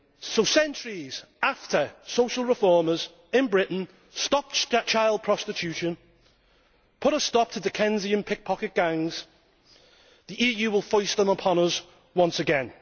So, centuries after social reformers in Britain stopped child prostitution and put a stop to Dickensian pickpocket gangs, the EU will foist them upon us once again.